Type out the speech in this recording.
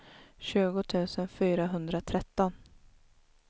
tjugo tusen fyrahundratretton